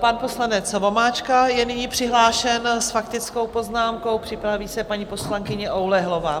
Pan poslanec Vomáčka je nyní přihlášen s faktickou poznámkou, připraví se paní poslankyně Oulehlová.